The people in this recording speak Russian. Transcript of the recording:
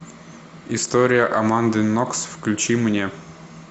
история аманды нокс включи мне